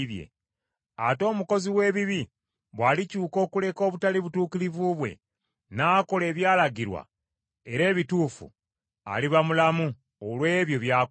Ate omukozi w’ebibi bw’alikyuka okuleka obutali butuukirivu bwe n’akola ebyalagirwa era ebituufu, aliba mulamu olw’ebyo by’akoze.